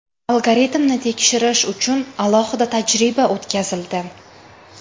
Algoritmni tekshirish uchun alohida tajriba o‘tkazildi.